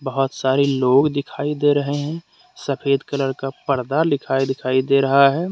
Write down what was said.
बहुत सारे लोग दिखाई दे रहे हैं सफेद कलर का पर्दा लिखाई दिखाई दे रहा है।